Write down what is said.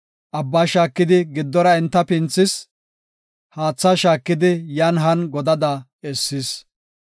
Abbaa shaakidi giddora enta pinthis; haatha shaakidi yan han godada essis.